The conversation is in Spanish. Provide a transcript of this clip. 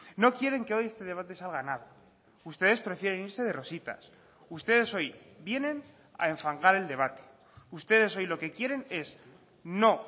no quieren que hoy este debate salga nada ustedes prefieren irse de rositas ustedes hoy vienen a enfangar el debate ustedes hoy lo que quieren es no